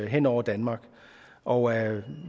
hen over danmark og